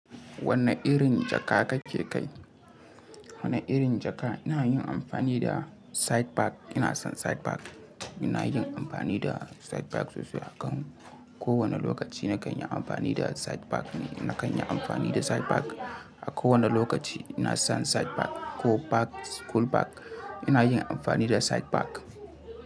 Wanne irin jaka kake kai? Wanne irin jaka? Ina yin amfani da site bag. Ina son site bag. Ina yin amfani da site bag sosai. A kan kowane lokaci na kan yi amfani da site bag ne. Na kan yi amfani da site bag. A kowane lokaci ina son site bag ko bag, school bag. Ina yin amfani da site bag.